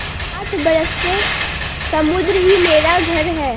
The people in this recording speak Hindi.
आठ बरस से समुद्र ही मेरा घर है